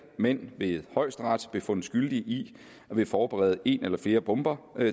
mænd ved højesteret blev fundet skyldige i at ville forberede en eller flere bomber